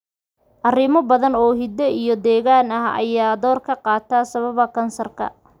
Arrimo badan oo hidde iyo deegaan ah ayaa door ka qaata sababa kansarka.